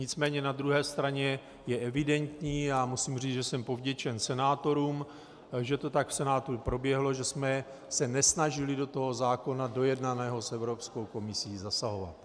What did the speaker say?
Nicméně na druhé straně je evidentní, a musím říct, že jsem povděčen senátorům, že to tak v Senátu proběhlo, že jsme se nesnažili do toho zákona dojednaného s Evropskou komisí zasahovat.